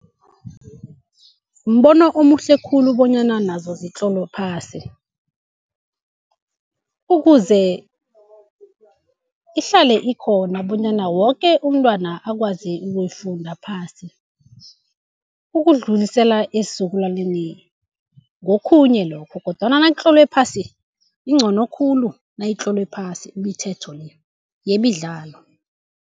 Mbono omuhle khulu bonyana nazo zitlolwe phasi, ukuze ihlale ikhona bonyana woke umntwana akwazi ukuyifunda phasi. Ukudluliselwa esizukulwaneni ngokhunye lokho. Kodwana nakutlolwe phasi incono khulu nayitlolwe phasi imithetho le yemidlalo.